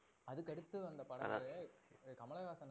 அதுக்கு அடுத்த வந்த படங்கள்ல கமலஹாசன்